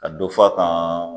Ka donfa kan.